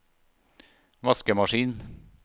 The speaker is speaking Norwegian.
vaskemaskin